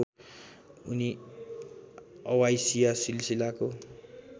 उनी अवाइसिया सिलसिलाको